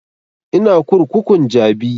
Ina kurkukun jabi